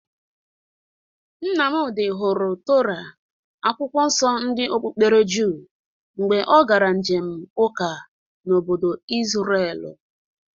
Nnamdị hụrụ Tora, akwụkwọ nso ndị okpukpere jụụ mgbe ọ gara njem ụka n'obodo Izrelu